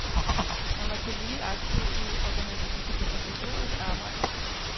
Han var tillige aktiv i organisatorisk arbejde.